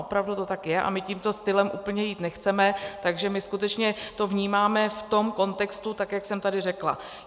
Opravdu to tak je a my tímto stylem úplně jít nechceme, takže my skutečně to vnímáme v tom kontextu, tak jak jsem tady řekla.